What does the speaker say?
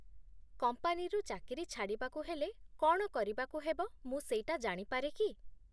କମ୍ପାନୀରୁ ଚାକିରି ଛାଡ଼ିବାକୁ ହେଲେ କ'ଣ କରିବାକୁ ହେବ ମୁଁ ସେଇଟା ଜାଣିପାରେ କି?